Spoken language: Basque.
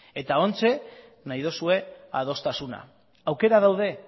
eta oraintxe nahi duzue adostasuna aukerak daude